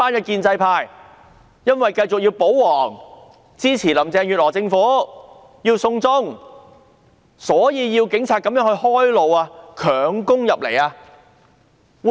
建制派是否因為要保皇、要支持林鄭月娥政府、要"送中"，所以要警察開路，強攻入立法會？